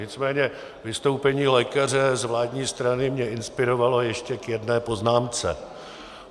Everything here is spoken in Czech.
Nicméně vystoupení lékaře z vládní strany mě inspirovalo ještě k jedné poznámce.